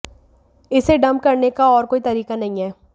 इसे डंप करने का और कोई तरीका नहीं है